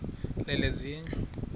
lezezindlu